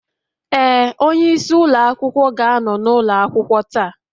Ee, onyeisi ụlọ akwụkwọ ga-anọ n'ụlọ akwụkwọ taa